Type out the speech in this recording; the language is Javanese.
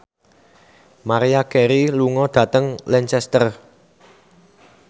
Maria Carey lunga dhateng Lancaster